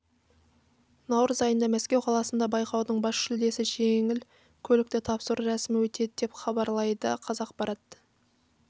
наурыз айында мәскеу қаласында байқаудың бас жүлдесі жеңіл көлікті тапсыру рәсімі өтеді деп іабарлайды қазақпарат